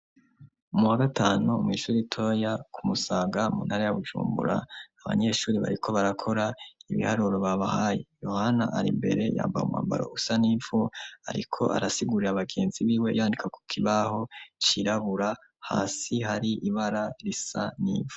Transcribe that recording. Mu wa gatanu mu ishuri toya kumusaga muntara ya bujumbura abanyeshuri bariko barakora ibiharuro babahaye yohana ari mbere yambae umambaro usa nimfu ariko arasigurira abagenzi b'iwe yandika ku kibaho kirabura hasi hari ibara risa n'ivu.